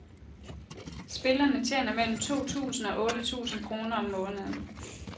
Spillerne tjener mellem to tusind og otte tusind kroner om måneden.